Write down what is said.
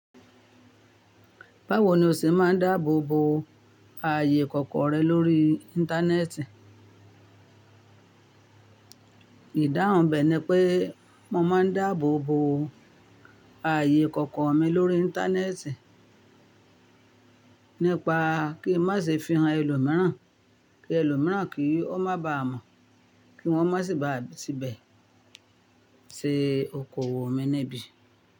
Báwo ni o ṣe máa ń dáàbò bo ààyè kọ̀ọ̀kan rẹ lórí Íńtánẹ́ẹ̀tì? Ìdáhùn bè ni pé mo máa ń dáàbò bo ààyè ikọ̀kọ̀ mi lórí Íńtánẹ́ẹ̀tì nípa kí n má ṣe fi hàn ẹlòmíràn, kí ẹlòmíràn kí ọ́ má ba à mọ̀, kí wọ́n má sì ba à ti bẹ̀ ṣe okòwò mi níbí.